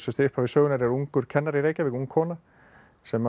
upphafi sögunnar er ungur kennari í Reykjavík ung kona sem